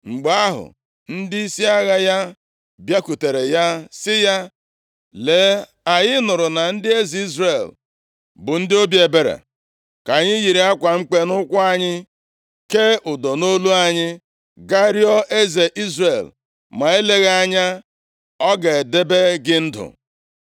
Mgbe ahụ, ndịisi agha ya bịakwutere ya sị ya, “Lee, anyị nụrụ na ndị eze Izrel bụ ndị obi ebere. Ka anyị yiri akwa mkpe nʼukwu anyị, kee ụdọ nʼolu anyị, gaa rịọọ eze Izrel. Ma eleghị anya ọ ga-edebe gị ndụ.”